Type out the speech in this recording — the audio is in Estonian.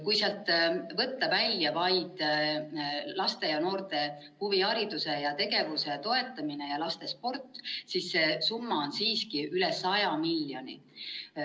Kui sealt võtta välja vaid laste ja noorte huvihariduse ja -tegevuse toetamine ja lastesport, siis see summa on üle 100 miljoni.